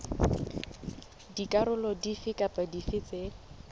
dikarolo dife kapa dife tse